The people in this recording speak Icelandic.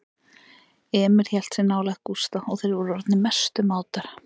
Emil hélt sig nálægt Gústa og þeir voru orðnir mestu mátar.